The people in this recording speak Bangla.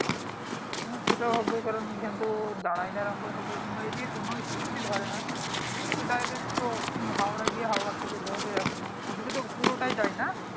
হ্যাঁ সেটা হবে কারণ এখান থেকে দাঁড়ায় না রামপুরহাটে বা এদিকে কোন station ধরে না direct তো হাওড়া গিয়ে হাওড়া থেকে ধরেই একদম ওদিকে তো পুরোটাই যায় না